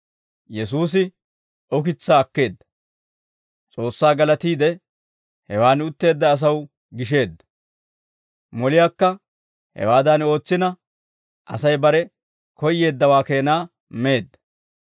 Yesuusi ukitsaa akkeedda; S'oossaa galatiide, hewan utteedda asaw gisheedda. Moliyaakka hewaadan ootsina Asay bare koyyeeddawaa keenaa meedda.